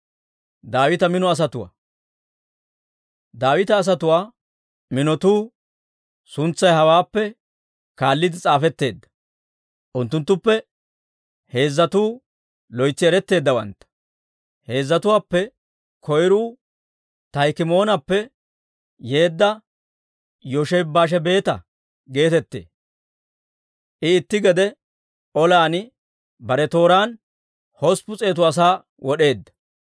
Daawita asatuwaa minotuu suntsay hawaappe kaalliide s'aafetteedda. Unttunttuppe heezzatuu loytsi eretteeddawantta. Heezzatuwaappe koyruu Taahikimoonappe yeedda Yooshebi-Baashebeeta geetettee; I itti gede olan bare tooraan hosppun s'eetu asaa wod'eedda.